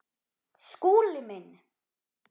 Skúli minn!